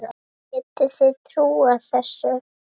Getið þið trúað þessu?